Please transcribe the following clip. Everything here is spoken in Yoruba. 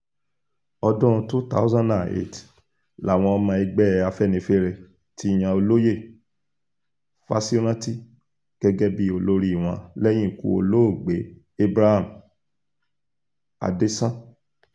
ọdún two thousand eight làwọn ọmọ ẹgbẹ́ afẹ́nifẹ́re ti yan olóyè fásirántí gẹ́gẹ́ bíi olórí wọn lẹ́yìn ikú olóògbé abraham adéṣán